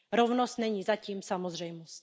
Rovnost není zatím samozřejmost.